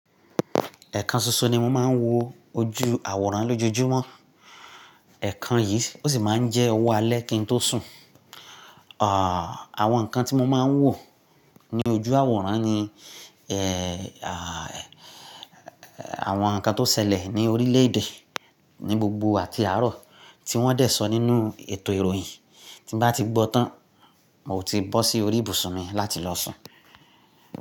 Ẹ̀kan ṣoṣo ni mo máa ń wo ojú àwòrán lójúmọ́. Ẹ̀kan yìí ó sì máa ń jẹ́ owó alẹ́ kí n tó sùn. Àwọn nǹkan tí mo máa ń wò ní ojú àwòrán ni àwọn nǹkan tó ṣẹlẹ̀ ní orílẹ̀-èdè ní gbogbo àti àárọ̀ tí wọ́n dẹ̀ sọ nínú ètò ìròyìn. Tí bá ti gbọ́ tán, mo ti bọ́ sí orí ibùsùn mi láti lọ sùn.